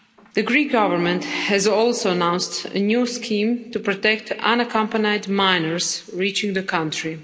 The Greek Government has also announced a new scheme to protect unaccompanied minors reaching the country.